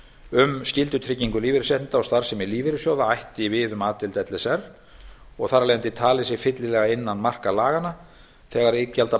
um skyldutryggingu lífeyrisréttinda og starfsemi lífeyrissjóða ætti við um a deild l s r og þar af leiðandi talið sig fyllilega innan marka laganna þegar